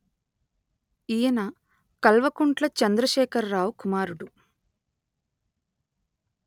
ఈయన కల్వకుంట్ల చంద్రశేఖరరావు కుమారుడు